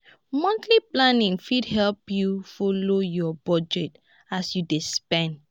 monthly planning fit help yu folo yur bujet as yu dey spend